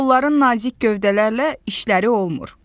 Onların nazik gövdələrlə işləri olmur."